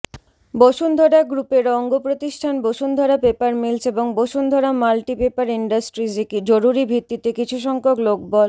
বসুন্ধরা গ্রুপের অঙ্গপ্রতিষ্ঠান Bashundhara paper mills এবং বসুন্ধরা মাল্টি পেপার ইন্ডাস্ট্রিজে জরুরী ভিত্তিতে কিছুসংখ্যক লোকবল